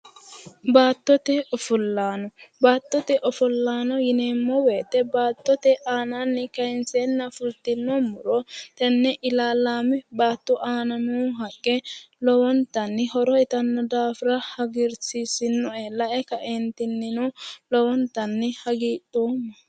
Baattote ofollaano. Baattote ofollano yineemmo woyite baattote aanaanni kayinseenna fultinno muro tenne ilaalaame baatto aana noo haqqe lowontanni horo uyitanno daafira hagiirsiisinoe. Lae kaentinnino lowontanni hagidhoomma.